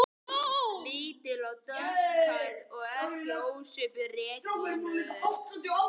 Lítil og dökkhærð og ekki ósvipuð Regínu